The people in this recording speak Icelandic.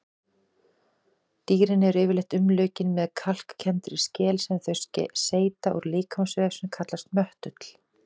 Dýrin eru yfirleitt umlukin með kalkkenndri skel sem þau seyta úr líkamsvef sem kallast möttull.